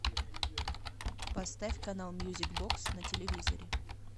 поставь канал мьюзик бокс на телевизоре